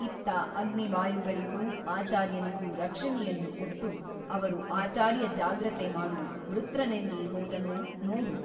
ಇತ್ತ ಅಗ್ನಿವಾಯುಗಳಿಗೂ ಆಚಾರ್ಯನಿಗೂ ರಕ್ಷಣೆಯನ್ನು ಕೊಟ್ಟು ಅವರು ಆಚಾರ್ಯ ಜಾಗ್ರತೆ ಮಾಡು ವೃತ್ರನೆಲ್ಲಿ ಹೋದನೋ ನೋಡು.